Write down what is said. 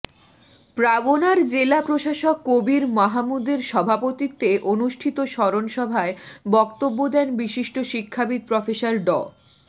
পাবনার জেলা প্রশাসক কবীর মাহামুদের সভাপতিত্বে অনুষ্ঠিত স্মরণ সভায় বক্তব্য দেন বিশিষ্ট শিক্ষাবিদ প্রফেসর ড